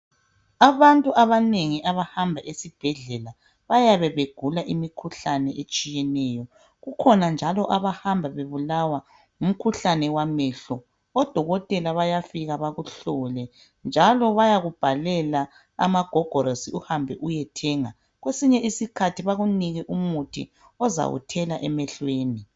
Abantu abanengi abahamba esibhedlela bayabe begula imikhuhlane etshiyeneyo, kukhona njalo abahamba bebulawa ngumkhuhlane wamehlo. Odokotela bayafika bakuhlole njalo bayakubhalela amagogorosi uhambe uyethenga, kwesinye isikhathi bakunike umuthi ozawuthela emehlweni.